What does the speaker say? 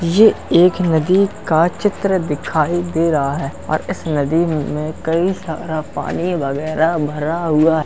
ये एक नदी का चित्र दिखाई दे रहा है और इस नदी में कई सारा पानी वगैरह भरा हुआ है।